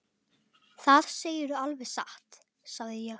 Það segirðu alveg satt, sagði ég.